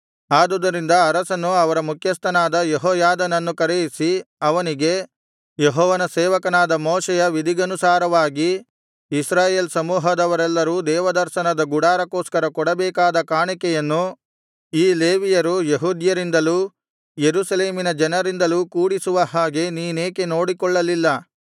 ಆದುದರಿಂದ ಅರಸನು ಅವರ ಮುಖ್ಯಸ್ಥನಾದ ಯೆಹೋಯಾದನನ್ನು ಕರೆಯಿಸಿ ಅವನಿಗೆ ಯೆಹೋವನ ಸೇವಕನಾದ ಮೋಶೆಯ ವಿಧಿಗನುಸಾರವಾಗಿ ಇಸ್ರಾಯೇಲ್ ಸಮೂಹದವರೆಲ್ಲರು ದೇವದರ್ಶನದ ಗುಡಾರಕ್ಕೋಸ್ಕರ ಕೊಡಬೇಕಾದ ಕಾಣಿಕೆಯನ್ನು ಈ ಲೇವಿಯರು ಯೆಹೂದ್ಯರಿಂದಲೂ ಯೆರೂಸಲೇಮಿನ ಜನರಿಂದಲೂ ಕೂಡಿಸುವ ಹಾಗೆ ನೀನೇಕೆ ನೋಡಿಕೊಳ್ಳಲಿಲ್ಲ